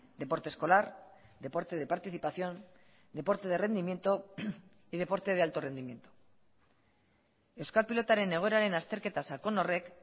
deporte escolar deporte de participación deporte de rendimiento y deporte de alto rendimiento euskal pilotaren egoeraren azterketa sakon horrek